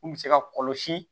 Mun bɛ se ka kɔlɔsi